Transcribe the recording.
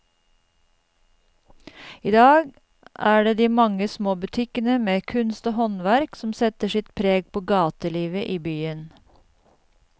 I dag er det de mange små butikkene med kunst og håndverk som setter sitt preg på gatelivet i byen.